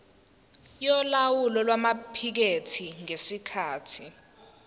yolawulo lwamaphikethi ngesikhathi